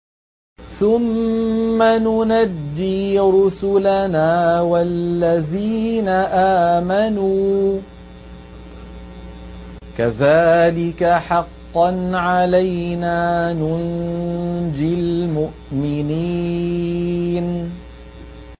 ثُمَّ نُنَجِّي رُسُلَنَا وَالَّذِينَ آمَنُوا ۚ كَذَٰلِكَ حَقًّا عَلَيْنَا نُنجِ الْمُؤْمِنِينَ